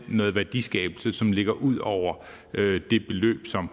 noget værdiskabelse som ligger ud over det beløb som